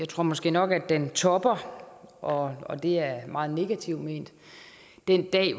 tror måske nok at den toppede og og det er meget negativt ment den dag